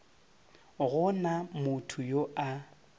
go na motho yo a